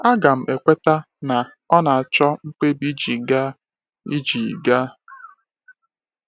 Aga m ekweta, na, ọ na-achọ mkpebi iji gaa. iji gaa.